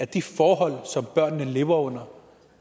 de forhold som børnene lever under